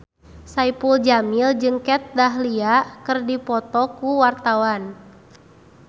Saipul Jamil jeung Kat Dahlia keur dipoto ku wartawan